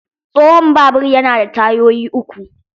Tsohon babur yana da tayoyi uku.